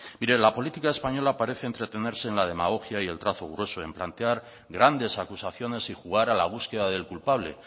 de la política española parece entretenerse en la demagogia y en trazo grueso en plantear grandes acusaciones y jugar a la búsqueda del culpable